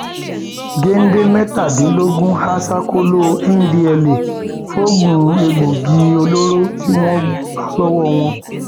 gèdè mẹtàdínlógún há sákòó ndtea logun egbòogi olóró ni wọn bá lọwọ wọn